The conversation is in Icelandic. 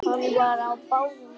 Hann var á báðum áttum.